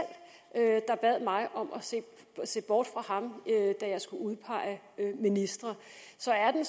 der bad mig om at se bort fra ham da jeg skulle udpege ministre så er den